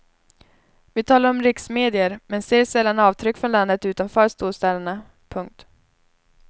Vi talar om riksmedier men ser sällan avtryck från landet utanför storstäderna. punkt